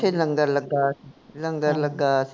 ਓਥੇ ਲੰਗਰ ਲੱਗਾ ਸੀ ਲੰਗਰ ਲੱਗਾ ਸੀ